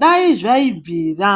Dai zvaibvira